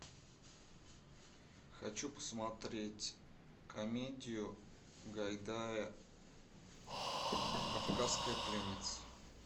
хочу посмотреть комедию гайдая кавказская пленница